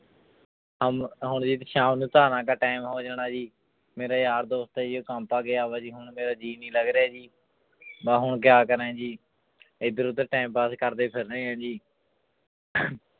ਹਮ ਹੁਣ ਸ਼ਾਮ ਨੂੰ ਧਾਰਾਂ ਕਾ time ਹੋ ਜਾਣਾ ਜੀ ਮੇਰੇ ਯਾਰ ਦੋਸਤ ਆ ਜੀ ਉਹ ਗਿਆ ਵਾ ਜੀ ਹੁਣ ਮੇਰਾ ਜੀਅ ਨੀ ਲੱਗ ਰਿਹਾ ਜੀ ਮੈਂ ਹੁਣ ਕਿਆ ਕਰਾਂ ਜੀ ਇੱਧਰ ਉੱਧਰ time pass ਕਰਦੇ ਫਿਰ ਰਹੇ ਹਾਂ ਜੀ